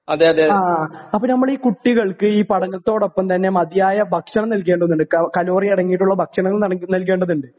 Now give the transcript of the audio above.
ആ അപ്പൊ നമ്മളീ കുട്ടികൾക്ക് ഈ പഠനത്തോടൊപ്പം തന്നെ മതിയായ ഭക്ഷണം നൽകേണ്ടതുണ്ട്. ക കലോറി അടങ്ങിയിട്ടുള്ള ഭക്ഷണം നട് നൽകേണ്ടതുണ്ട്.